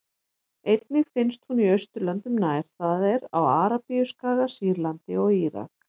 Einnig finnst hún í Austurlöndum nær, það er á Arabíuskaga, Sýrlandi og Írak.